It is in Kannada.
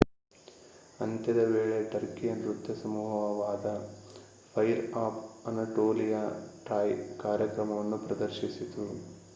ಅಂತ್ಯದ ವೇಳೆ ಟರ್ಕಿಯ ನೃತ್ಯ ಸಮೂಹವಾದ ಫೈರ್ ಆಫ್ ಅನಾಟೋಲಿಯಾ ಟ್ರಾಯ್ ಕಾರ್ಯಕ್ರಮವನ್ನು ಪ್ರದರ್ಶಿಸಿತು